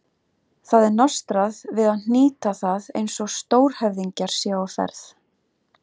Það er nostrað við að hnýta það eins og stórhöfðingjar séu á ferð.